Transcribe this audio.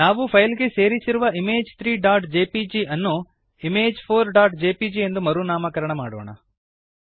ನಾವು ಫೈಲ್ ಗೆ ಸೇರಿಸಿರುವ ಇಮೇಜ್ 3ಜೆಪಿಜಿ ಅನ್ನು image4ಜೆಪಿಜಿ ಎಂದು ಮರು ನಾಮಕರಣ ಮಾಡೋಣ